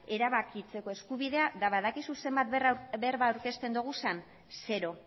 erabakitzeko eskubidea eta badakizu zenbat berba aurkezten ditugun zero